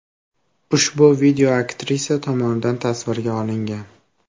Ushbu video aktrisa tomonidan tasvirga olingan.